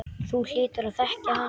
Þú hlýtur að þekkja hann.